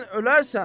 Sən ölərsən.